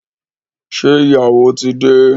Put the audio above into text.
Ṣé ìyàwó tí dé?